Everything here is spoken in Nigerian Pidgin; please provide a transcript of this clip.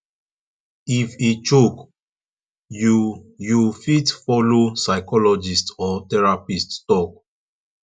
if e choke you you fit follow psychologist or therapist talk